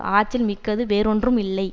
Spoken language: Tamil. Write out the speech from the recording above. ஆற்றல் மிக்கது வேறொன்றும் இல்லை